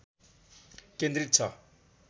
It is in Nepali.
केन्द्रित छ